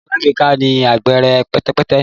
Kọǹpútà alágbèéká ni ahere pẹtẹpẹtẹ